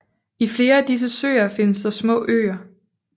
I flere af disse søer findes der små øer